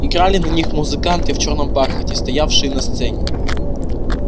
играли на них музыканты в чёрном бархате стоявшие на сцене